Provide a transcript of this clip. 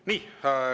Nii.